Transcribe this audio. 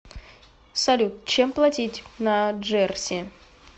салют чем платить на джерси